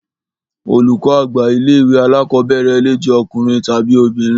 Olùkọ́ àgbà ilé ìwé alákọ̀berẹ̀ le jẹ ọkùnrin tàbi obìnrin.